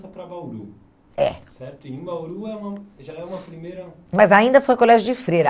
Bauru. É. Certo? E em Bauru é uma já é uma primeira... Mas ainda foi colégio de Freira.